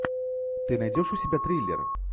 ты найдешь у себя триллер